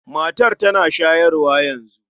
Matar tana shayarwa yanzu.